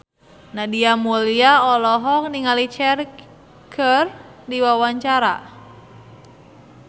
Nadia Mulya olohok ningali Cher keur diwawancara